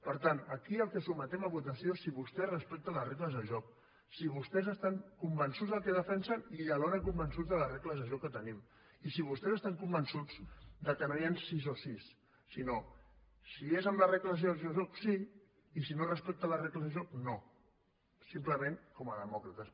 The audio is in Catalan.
per tant aquí el que sotmetem a votació és si vostès respecten les regles del joc si vostès estan convençuts del que defensen i alhora convençuts de les regles de joc que tenim i si vostès estan convençuts que no hi han sís o sís sinó que si és amb les regles del joc sí i si no es respecten les regles del joc no simplement com a demòcrates